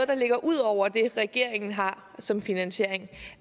der ligger ud over det regeringen har som finansiering